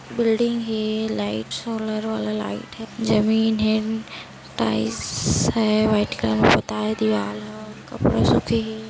Building हे lights solar वाला light हे जमीन हे टाइल्स हे व्हाइट कलर से पोता हे दीवाल ह कपड़ा सूखे हे।